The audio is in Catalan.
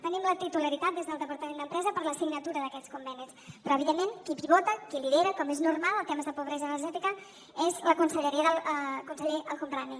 tenim la titularitat des del departament d’empresa per la signatura d’aquests convenis però evidentment qui pivota qui lidera com és normal en temes de pobresa energètica és la conselleria del conseller el homrani